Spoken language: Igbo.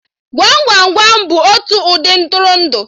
Gwam Gwam Gwam bụ otu ụdị Ntụrụndụ